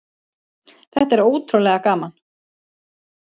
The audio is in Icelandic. Þetta er ótrúlega gaman.